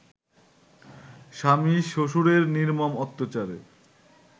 স্বামী-শ্বশুরের নির্মম অত্যাচারে